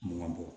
Mankan bɔ